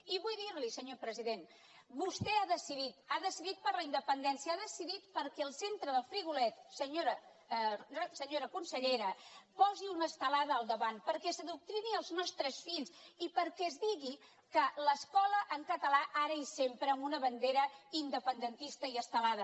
i vull dir li senyor president vostè ha decidit ha decidit per la independència ha decidit perquè el centre d’el frigolet senyora consellera posi una estelada al da vant perquè s’adoctrini els nostres fills i perquè es digui que l’escola en català ara i sempre amb una bandera independentista i estelada